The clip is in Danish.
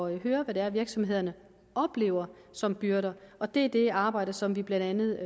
at høre hvad det er virksomhederne oplever som byrder og det er det arbejde som vi blandt andet